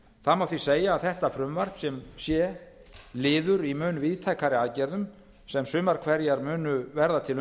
það má því segja að þetta frumvarp sem sé liður í mun víðtækari aðgerðum sem sumar hverjar munu verða til